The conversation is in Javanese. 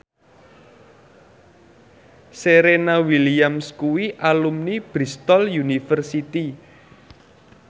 Serena Williams kuwi alumni Bristol university